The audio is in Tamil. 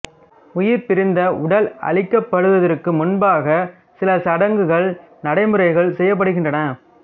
உயிர் பிரிந்த உடல் அழிக்கப்படுவதற்கு முன்பாக சில சடங்குகள் நடைமுறைகள் செய்யப்படுகின்றன